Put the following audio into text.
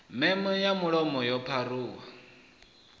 meme ya mulomo yo pharuwaho